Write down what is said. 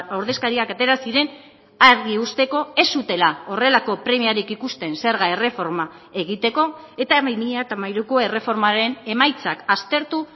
ordezkariak atera ziren argi uzteko ez zutela horrelako premiarik ikusten zerga erreforma egiteko eta bi mila hamairuko erreformaren emaitzak aztertu